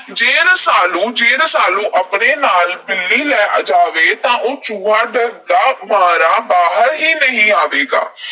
ਜੇ ਰਸਾਲੂ ਅਹ ਜੇ ਰਸਾਲੂ ਆਪਣੇ ਨਾਲ ਬਿੱਲੀ ਲੈ ਜਾਵੇ, ਤਾਂ ਉਹ ਚੂਹਾ ਡਰਦਾ ਮਾਰਾ ਬਾਹਰ ਹੀ ਨਹੀਂ ਆਵੇਗਾ।